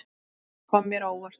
Margt kom mér á óvart.